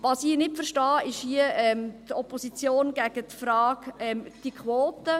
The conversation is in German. Was ich nicht verstehe, ist die Opposition gegen die Frage der Quote.